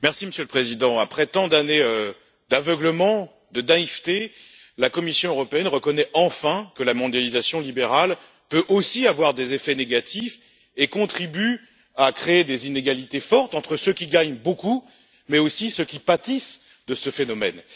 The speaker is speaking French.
Monsieur le Président, après tant d'années d'aveuglement et de naïveté, la Commission européenne reconnaît enfin que la mondialisation libérale peut aussi avoir des effets négatifs et contribue à créer des inégalités fortes entre ceux qui gagnent beaucoup et ceux qui pâtissent de ce phénomène.